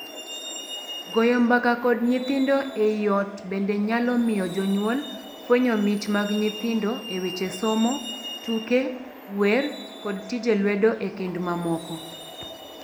Goyo mbaka kod nyithindo ei ot bende nyalo miyo jonyuol fwenyo mich mag nyithindo e weche somo, tuke, wer, kod tije lwedo ekind mamoko.